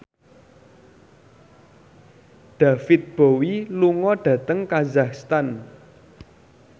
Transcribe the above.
David Bowie lunga dhateng kazakhstan